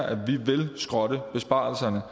at vi vil skrotte besparelserne